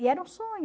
E era um sonho.